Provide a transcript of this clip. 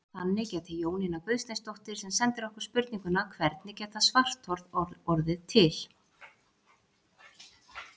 Þannig gæti Jónína Guðsteinsdóttir sem sendir okkur spurninguna Hvernig geta svarthol orðið til?